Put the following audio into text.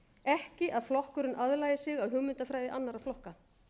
ekki að flokkurinn aðlagi sig að hugmyndafræði annarra flokka